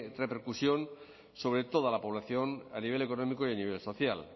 repercusión sobre toda la población a nivel económico y a nivel social